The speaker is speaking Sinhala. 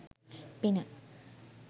පින